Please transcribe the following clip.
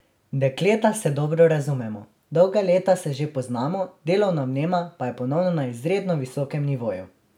Dekleta se dobro razumemo, dolga leta se že poznamo, delovna vnema pa je ponovno na izredno visokem nivoju.